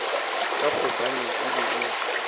ka gobane e be e